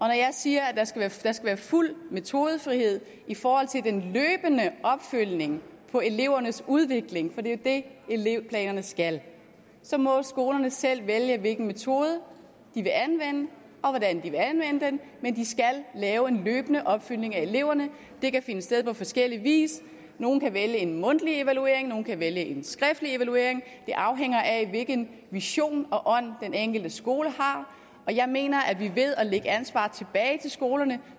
jeg siger at der skal være fuld metodefrihed i forhold til den løbende opfølgning på elevernes udvikling for det er det elevplanerne skal så må skolerne selv vælge hvilken metode de vil anvende og hvordan de vil anvende den men de skal lave en løbende opfølgning af eleverne det kan finde sted på forskellig vis nogle kan vælge en mundtlig evaluering nogle kan vælge en skriftlig evaluering det afhænger af hvilken vision og ånd den enkelte skole har og jeg mener at vi ved at lægge ansvaret tilbage til skolerne